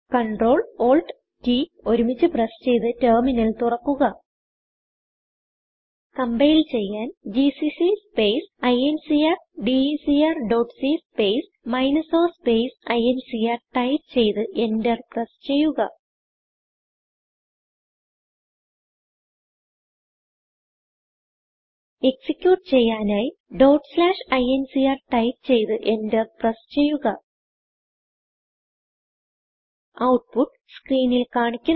Ctrl Alt T ഒരുമിച്ച് press ചെയ്ത് terminal തുറക്കുക കമ്പൈൽ ചെയ്യാൻ GCC space incrdecr dot c space minus o space I N C R type ചെയ്ത് enter press ചെയ്യുക execute ചെയ്യാനായി incr ടൈപ്പ് ചെയ്ത് എന്റർ പ്രസ് ചെയ്യുക ഔട്ട്പുട്ട് സ്ക്രീനിൽ കാണിക്കുന്നു